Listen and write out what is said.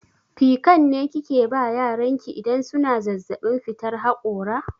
Pikan ne kike ba yaran ki idan suna zazzaɓin fitar haƙora?